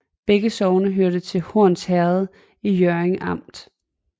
Begge sogne hørte til Horns Herred i Hjørring Amt